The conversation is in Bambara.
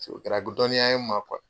Sabu u kɛra dɔnniya ye n ma